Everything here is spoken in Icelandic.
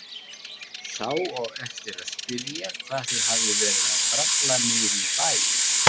Sá á eftir að spyrja hvað þau hafi verið að bralla niðri í bæ.